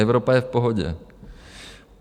Evropa je v pohodě.